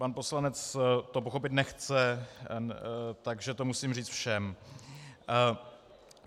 Pan poslanec to pochopit nechce, takže to musím říct všem.